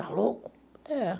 Está louco? É.